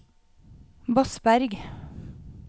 Bosberg